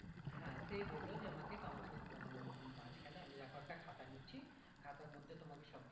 হ্যাঁ সেই বললো যে আমাকে counselling এর মাঝখানে আমি তারপর একটা খাতা দিচ্ছি খাতার মধ্যে তোমাকে সব